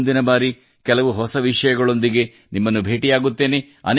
ಮುಂದಿನ ಬಾರಿ ಕೆಲವು ಹೊಸ ವಿಷಯಗಳೊಂದಿಗೆ ನಿಮ್ಮನ್ನು ಭೇಟಿಯಾಗುತ್ತೇನೆ